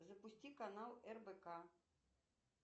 запусти канал рбк